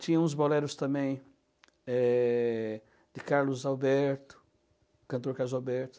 Tinha uns boleros também eh, de Carlos Alberto, cantor Carlos Alberto.